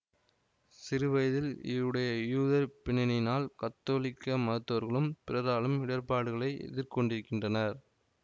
சிறு வயதில் இவருடைய யூதர் பின்னணியினால் கத்தோலிக மதத்தவர்கலும் பிறராலும் இடர்ப்பாடுகளை எதிர்கொண்டிருக்கின்றார்